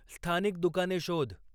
स्थानिक दुकाने शोध